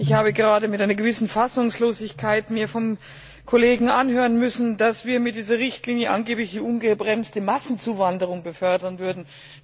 Ich habe mir gerade mit einer gewissen Fassungslosigkeit vom Kollegen anhören müssen, dass wir mit dieser Richtlinie angeblich eine ungebremste Massenzuwanderung befördern würden.